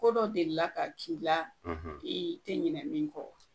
Ko dɔ delila ka k'i la i tɛ ɲinɛ min kɔ wa?